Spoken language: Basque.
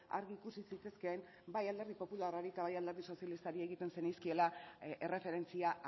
argi ikusi zitezkeen bai alderdi popularrari eta bai alderdi sozialistari egiten zenizkiela erreferentzia